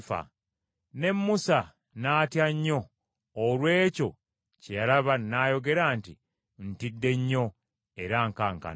Ne Musa n’atya nnyo olw’ekyo kye yalaba n’ayogera nti, “Ntidde nnyo era nkankana.”